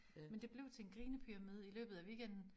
Men det blev til en grinepyramide i løbet af weekenden